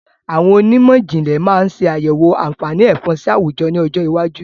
Àwọn onímọ̀jìnlẹ̀ máa ṣe àyẹ̀wọ̀ àǹfààní Ẹ̀fọ̀n sì àwùjọ ni ọjọ́ iwájú